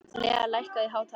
Lea, lækkaðu í hátalaranum.